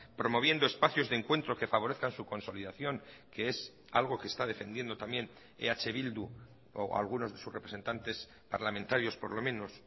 promoviendo espacios de encuentro que favorezcan su consolidación que es algo que está defendiendo también eh bildu o algunos de sus representantes parlamentarios por lo menos